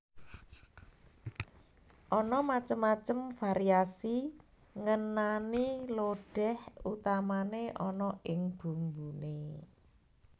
Ana macem macem variasi ngenani lodéh utamané ana ing bumbuné